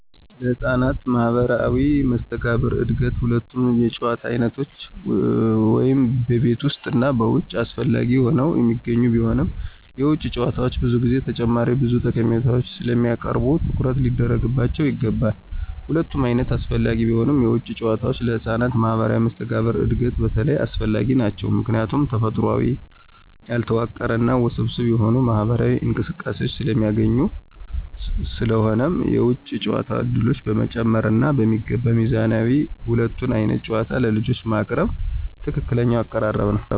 ለህፃናት ማህበራዊ መስተጋብር እድገት ሁለቱም የጨዋታ ዓይነቶች (ቤት ውስጥ እና ውጭ) አስፈላጊ ሆነው የሚገኙ ቢሆንም፣ የውጭ ጨዋታዎች ብዙ ጊዜ ተጨማሪ ብዙ ጠቀሜታዎችን ስለሚያቀርቡ ትኩረት ሊደረግባቸው ይገባል። ሁለቱም ዓይነቶች አስፈላጊ ቢሆኑም፣ የውጭ ጨዋታዎች ለህፃናት ማህበራዊ መስተጋብር እድገት በተለይ አስፈላጊ ናቸው ምክንያቱም ተፈጥሯዊ፣ ያልተዋቀረ እና ውስብስብ የሆኑ ማህበራዊ እንቅስቃሴዎችን ስለሚያስገኙ። ስለሆነም የውጭ ጨዋታ ዕድሎችን በመጨመር እና በሚገባ ሚዛን ሁለቱንም ዓይነት ጨዋታዎች ለልጆች ማቅረብ ትክክለኛው አቀራረብ ነው።